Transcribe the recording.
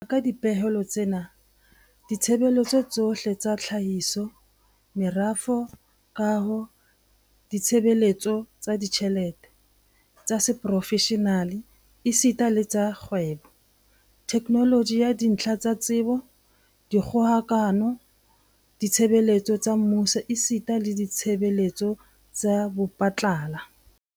Ho ya ka dipehelo tsena, ditshebeletso tsohle tsa tlhahiso, merafo, kaho, ditshebeletso tsa ditjhelete, tsa seprofeshenale esita le tsa kgwebo, theknoloji ya dintlha tsa tsebo, dikgokahano, ditshebeletso tsa mmuso esita le ditshebeletso tsa bophatlala.